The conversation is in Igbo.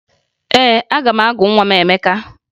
Ee, aga m agụ nwa m Emeka